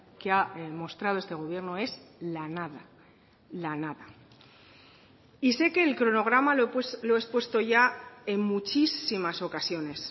que ha mostrado este gobierno es la nada la nada y sé que el cronograma lo he expuesto ya en muchísimas ocasiones